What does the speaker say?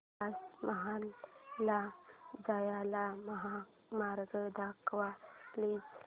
ताज महल ला जाण्याचा महामार्ग दाखव प्लीज